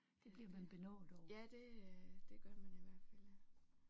Det bliver man benovet over